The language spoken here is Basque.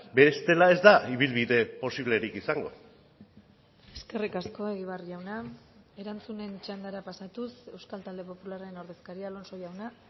bestela ez da ibilbide posiblerik izango eskerrik asko egibar jauna erantzunen txandara pasatuz euskal talde popularraren ordezkaria alonso jauna